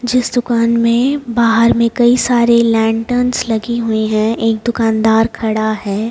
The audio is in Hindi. जिस दुकान में बाहर में कई सारे लैंटर्न्स लगी हुई हैं एक दुकानदार खड़ा है।